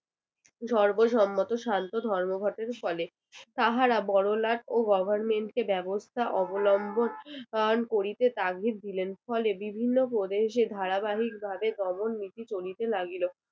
সর্বসম্মত শান্ত ধর্মঘটের ফলে তাহারা বড়লাট ও government কে ব্যবস্থা অবলম্বন আহ করিতে তাগিদ দিলেন ফলে বিভিন্ন প্রদেশে ধারাবাহিকভাবে দমন নীতি চলিতে লাগিল